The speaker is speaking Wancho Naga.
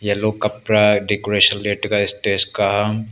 yellow kapra decoration le taga stage ka a.